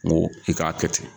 N ko i k'a kɛ ten.